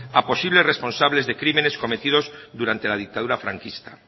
a posibles responsables de crímenes cometidos durante la dictadura franquista